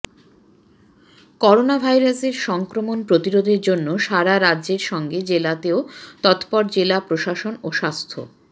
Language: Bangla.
করোনাভাইরাসের সংক্রমণ প্রতিরোধের জন্য সারা রাজ্যের সঙ্গে জেলাতেও তৎপর জেলা প্রশাসন ও স্বাস্থ্য